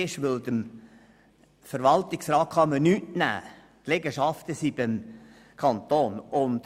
Dies, weil dem Verwaltungsrat nichts genommen werden könne und die Liegenschaften dem Kanton gehörten.